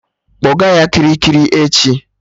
Kpọga ya Kirikiri echi!